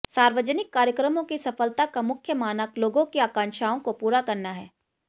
सार्वजनिक कार्यक्रमों की सफलता का मुख्य मानक लोगों की आकांक्षाओं को पूरा करना है